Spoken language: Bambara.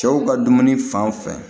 Cɛw ka dumuni fan fɛ